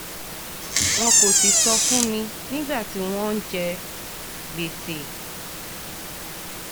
wọn kò sì sọ fún mi nígbà tí wọ́n ń jẹ gbèsè